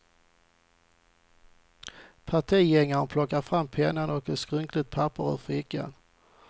Partigängaren plockade fram penna och ett skrynkligt papper ur fickan.